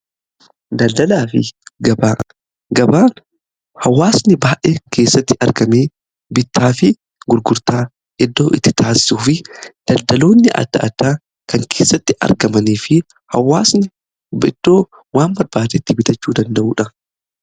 Daldalaa fi gabaan hawwaasni baay'ee keessatti argamee bittaa fi gurgurtaa iddoo itti taasisuu fi daldaloonni adda addaa kan keessatti argamanii fi hawaasni iddoo waan barbaade itti bitachuu danda'uudha.